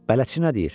"Bələdçi nə deyir?"